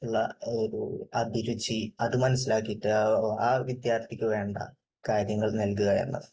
ഉള്ള ഒരു അഭിരുചി അത് മനസ്സിലാക്കിയിട്ട് ആ വിദ്യാർഥിക്ക് വേണ്ട കാര്യങ്ങൾ നല്കുക എന്നത്